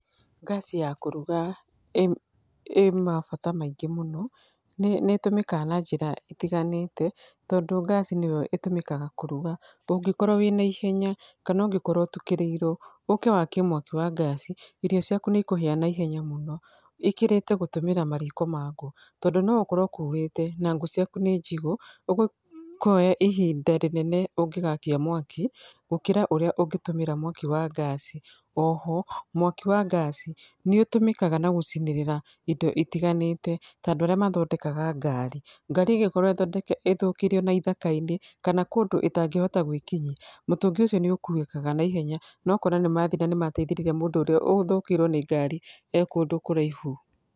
Ngaci ya kũruga ĩ mabata maingĩ mũno, nĩ ĩtũmĩkaga na njĩra itiganĩte, tondũ ngaci nĩyo ĩtũmĩkaga kũruga, ũngĩkorwo wĩna ihenya kana ũngĩkorwo ũtukĩrĩirwo. Ũke wakie mwaki wa ngaci irio ciaku nĩ ikũhĩa na ihenya mũno. Ikirite gũtũmĩra mariko ma ngũ, tondũ no gũkorwo kuurĩte na ngũ ciaku nĩ njigũ, ũguo kuoya ihinda rĩnene ũngĩgakia mwaki gũkira ũrĩa ũngĩtũmĩra mwaki wa ngaci. Oho mwaki wa ngaci nĩ ũtũmĩkaga na gũcinĩrĩra indo itiganĩte, ta andũ arĩa mathondekaga ngari. Ngari ĩngĩkorwo ĩthũkĩire ona ithaka-inĩ kana kũndũ ĩtangĩhota gwĩkinyia, mũtũngi ũcio nĩ ũkuĩkaga na ihenya na ũgakora nĩ mathiĩ namateithĩrĩria mũndũ ũrĩa ũthũkĩirwo nĩ ngari e kũndũ kũraihu.